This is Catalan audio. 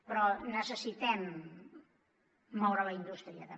però necessitem moure la indústria també